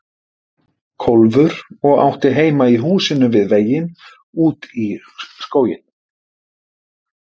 Kólfur og átti heima í húsinu við veginn út í skóginn.